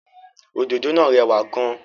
Òdòdó náà rẹwà gan-an.